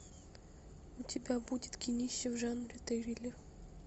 у тебя будет кинище в жанре триллер